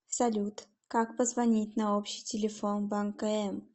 салют как позвонить на общий телефон банка м